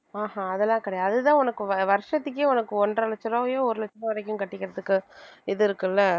ஆஹ் அஹ் அதெல்லாம் கிடையாது அதுதான் உனக்கு வ~ வருஷத்துக்கே உனக்கு ஒன்றரை லட்ச ரூபாயோ ஒரு லட்ச ரூபாய் வரைக்கும் கட்டிக்கிறதுக்கு இது இருக்குல்ல